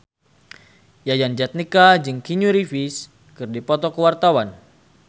Yayan Jatnika jeung Keanu Reeves keur dipoto ku wartawan